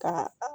Ka